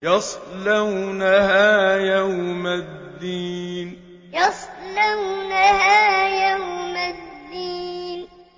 يَصْلَوْنَهَا يَوْمَ الدِّينِ يَصْلَوْنَهَا يَوْمَ الدِّينِ